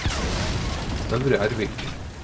Øvre Ervik